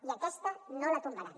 i aquesta no la tombaran